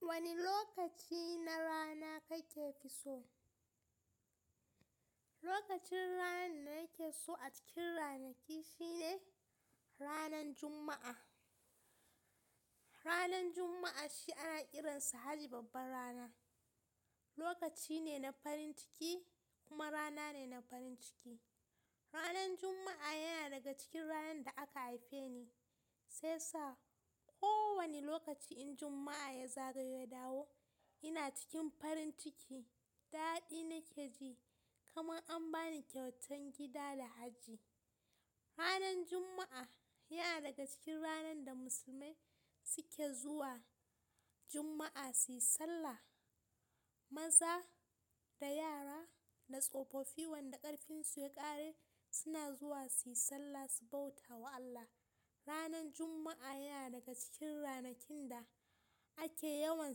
Wani lokaci na rana kake so? Lokacin ranar da nake so a cikin ranaki shine, ranan Juma'a. Ranar Juma'a shi ana kiransa har babbar rana. Lokaci ne na farin ciki kuma rana ne na farin ciki. Ranar Juma'a yana daga cikin ranar da aka haife ni, sai sa kowane lokaci in Juma'a ya zagayo ya dawo, ina cikin farin ciki, daɗi nake ji kamar an bani kyautan gida da hajji. Ranar Juma'a yana daga cikin ranar da musulmai suke zuwa Jumma'a suyi sallah. Maza da yara da tsofoffi wanda ƙarfinsu ya ƙare, suna zuwa suyi sallah su bauta wa Allah. Ranar Juma'a yana daga cikin ranakun da ake yawan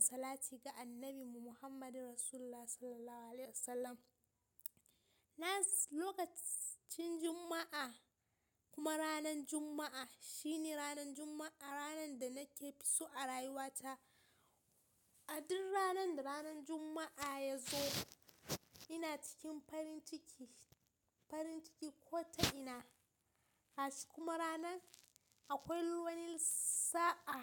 salati ga Annabi Muhammadu Rasulullah SAW. Na lokacin Juma'a kuma ranan Juma'a shine ranan Juma'a, ranan da nake so a rayuwata. A duk ranan da ranan Juma'a ya zo, ina cikin farin ciki, farin ciki ko ta ina. Acikin kuma ranan akwai wani sa'a.